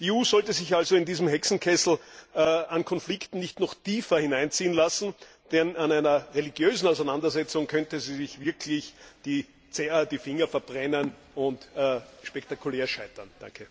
Die EU sollte sich also in diesen Hexenkessel an Konflikten nicht noch tiefer hineinziehen lassen, denn an einer religiösen Auseinandersetzung könnte sie sich wirklich die Finger verbrennen und spektakulär scheitern.